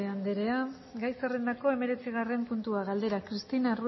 anderea gai zerrendako hemeretzigarren puntua galdera cristina